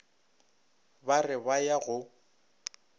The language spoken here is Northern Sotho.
ba re ba ya go